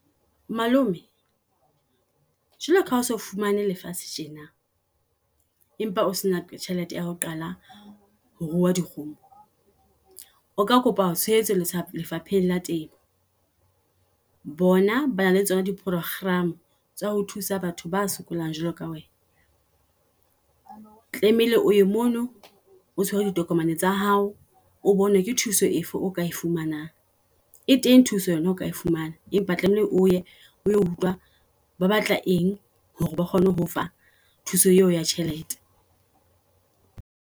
Malome jealo ka ha oso fumane lefatshe tjena, empa o sena tjhelete ya ho qala ho tuaa dikgomo. O ka kopa tshehetso lefapheng la temo. Bona ba na le tsona di programme tsa ho thusa batho ba sokolang jwalo ka wena. Tlameile o ye mono o tshwere ditokomane tsa hao. O bone ke thuso efe oka e fumanang. E teng thuso yona oka fumana, empa tlameile oye oyo utlwa ba batla eng hore ba kgone ho fa thuso eo ya tjhelete.